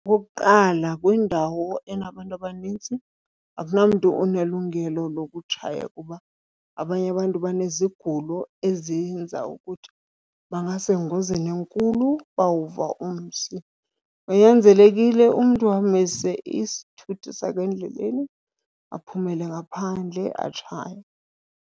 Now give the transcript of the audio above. Okokuqala, kwindawo enabantu abanintsi akunamntu unelungelo lokutshaya kuba abanye abantu banezigulo ezenza ukuthi bangasengozini enkulu bawuva umsi. Kunyanzelekile umntu amise isithuthi sakhe endleleni aphumele ngaphandle atshaye.